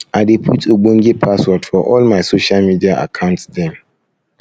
i dey put ogbonge password for all my social media account dem